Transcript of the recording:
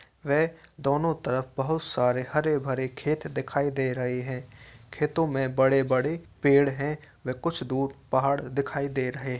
वे दोनों तरफ बहुत सारे हरे भरे खेत के दिखाई दे रहे हैं। खेतों में बड़े-बड़े पेड़ हैं व कुछ दूर पहाड़ दिखाई दे रहे --